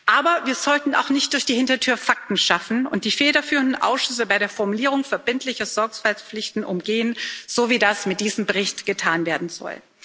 Aber wir sollten auch nicht durch die Hintertür Fakten schaffen und die federführenden Ausschüsse bei der Formulierung verbindlicher Sorgfaltspflichten umgehen, so wie das mit diesem Bericht getan werden soll.